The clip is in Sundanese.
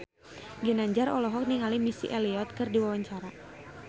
Ginanjar olohok ningali Missy Elliott keur diwawancara